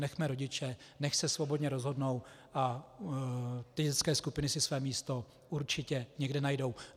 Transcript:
Nechme rodiče, nechť se svobodně rozhodnou, a ty dětské skupiny si své místo určitě někde najdou.